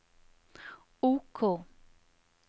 OK